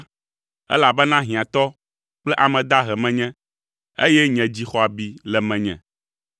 elabena hiãtɔ kple ame dahe menye, eye nye dzi xɔ abi le menye.